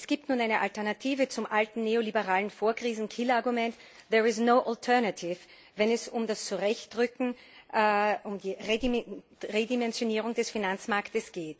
Es gibt nun eine Alternative zum alten neoliberalen Vorkrisen Killerargument wenn es um das Zurechtrücken und die Redimensionierung des Finanzmarktes geht.